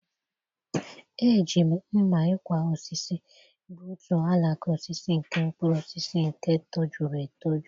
eji m mma-ikwa-osisi gbutu alaka osisi nke mkpuru osisi nke tojuru etoju.